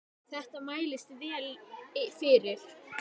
Þetta mælist vel fyrir.